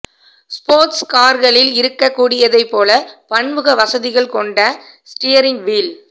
ஸ்போர்ஸ்ட் கார்களில் இருக்கக் கூடியதைப் போல பன்முக வசதிகள் கொண்ட ஸ்டியரிங் வீல்